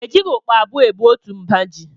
E jighị ukpa abụọ ebu otu mba ji